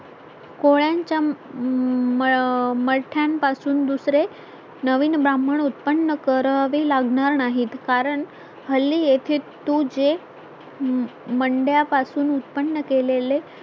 कोळ्यांच्या मा मा माथानपासून पासून दुसरे नवीन ब्राह्मण उत्पन्न करावे लागणार नाहीत कारण हल्ली येथे तुजे मंडया पासून उत्पन्न केलेले